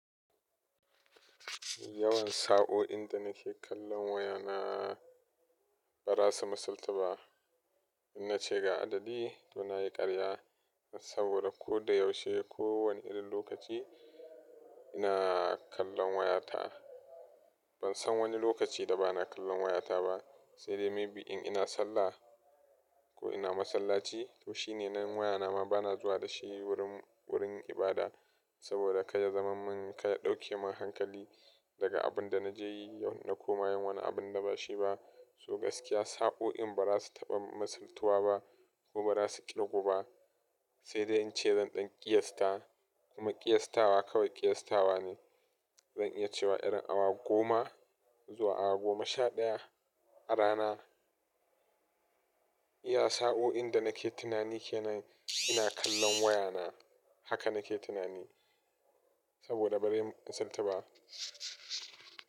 Yawan sa'o'in da nake kallon wayana ba za su misalta ba. Ina cika adadi don na yi ƙarya saboda ko da yaushe, kowane irin lokaci ina kallon wayata. Ban san wani lokaci da ba na kallon wayata ba, sai dai maybe in ina sallah ko ina masallaci. To shi ne nan wayana ma ba na zuwa da shi wurin ibada saboda ka yi zaman min, ka ɗauke min hankali daga abin da na je yi yau na koma wani abin da ba shi ba. So gaskiya sa'o'in ba za su taɓa misaltuwa ba ko ba za su ƙirgo ba. Sai dai in ce zan ɗan ƙiyasta kuma ƙiyastawa kawai ƙiyastawa ne. Zan iya cewa irin awa goma zuwa awa goma sha ɗaya a rana iya sa'o'in da nake tunani ke nan ina kallon wayana. Haka nake tunani saboda bari misalta ba.